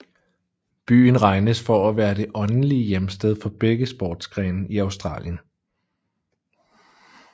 Byen regnes for at være det åndelige hjemsted for begge sportsgrene i Australien